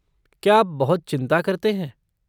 क्या आप बहुत चिंता करते हैं?